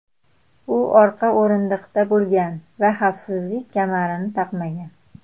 U orqa o‘rindiqda bo‘lgan va xavfsizlik kamarini taqmagan.